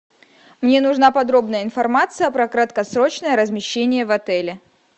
мне нужна подробная информация про краткосрочное размещение в отеле